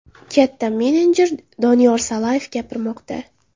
Katta menejer Doniyor Salayev gapirmoqda.